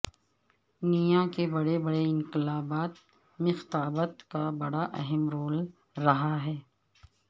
نیا کے بڑے بڑے انقلابات میںخطابت کا بڑا اہم رول رہا ہے